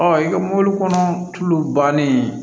Ɔ i ka mɔbilikɔnɔ tulu bannen